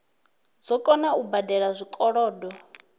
dzo kona u badela zwikolodo